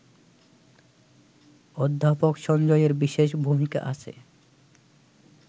অধ্যাপক সঞ্জয়ের বিশেষ ভূমিকা আছে